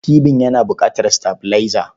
Tibin yana buƙatar sitabilaiza.